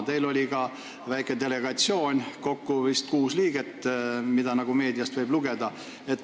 Teil oli ka väike delegatsioon, kokku vist kuus liiget, nagu meediast võib lugeda.